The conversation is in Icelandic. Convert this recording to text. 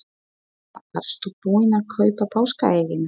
Eva: Varstu búin að kaupa páskaeggin?